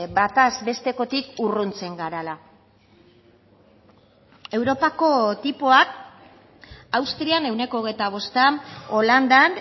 bataz bestekotik urruntzen garela europako tipoak austrian ehuneko hogeita bosta holandan